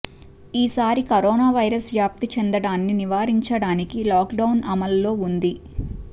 ఈ సారి corona virus వ్యాప్తి చెందడాన్ని నివారించడానికి లాక్డౌన్ అమల్లో ఉంది